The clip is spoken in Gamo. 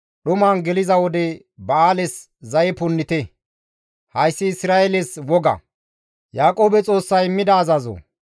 Hayssi Isra7eeles woga; Yaaqoobe Xoossay immida azazo.